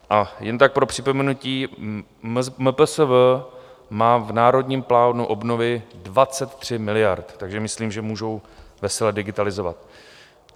A jen tak pro připomenutí, MPSV má v Národním plánu obnovy 23 miliard, takže myslím, že můžou vesele digitalizovat.